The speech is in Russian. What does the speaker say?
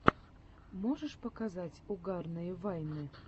можешь показать угарные вайны